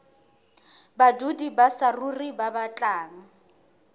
badudi ba saruri ba batlang